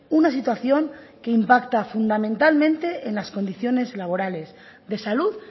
una situación que impacta fundamentalmente en las condiciones laborales de salud